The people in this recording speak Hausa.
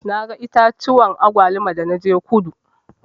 Na ga itatuwan agwaluma da na je kudu.